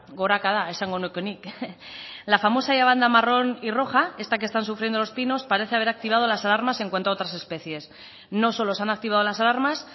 gorakada esango nuke nik la famosa banda marrón y roja esta que están sufriendo los pinos parece haber activado las alarmas en cuanto a otras especies no solo se han activado las alarmas